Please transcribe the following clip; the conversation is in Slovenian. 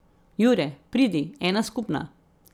Jure, pridi, ena skupna.